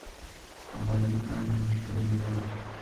болит нога что делать